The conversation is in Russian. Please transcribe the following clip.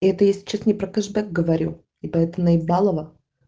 это если что-то не про кэшбэк говорю и поэтому наебалово